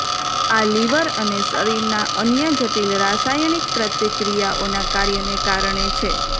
આ લીવર અને શરીરના અન્ય જટિલ રાસાયણિક પ્રતિક્રિયાઓના કાર્યને કારણે છે